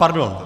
Pardon.